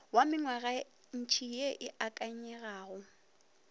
wa mengwagantši ye e akanyegago